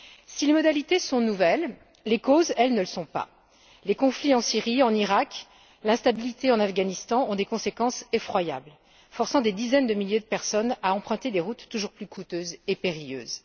Si les modalités sont nouvelles, les causes, elles, ne le sont pas. Les conflits en Syrie, en Iraq, l'instabilité en Afghanistan ont des conséquences effroyables, forçant des dizaines de milliers de personnes à emprunter des routes toujours plus coûteuses et périlleuses.